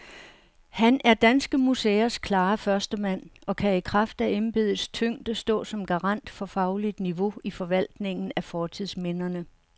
Han er danske museers klare førstemand og kan i kraft af embedets tyngde stå som garant for fagligt niveau i forvaltningen af fortidsminderne.